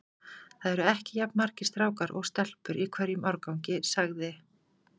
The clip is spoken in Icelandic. Það eru ekki jafn margir strákar og stelpur í hverjum árgangi sagði